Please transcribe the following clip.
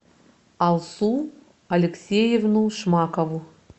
алсу алексеевну шмакову